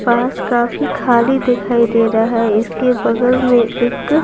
पास काफी खाली दिखाई दे रहा है इसके बगल में एक--